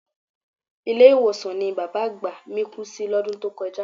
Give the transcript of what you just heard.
Ilé-ìwòsàn ni bàbá àgbà mí kú sí lọ́dún tó kọjá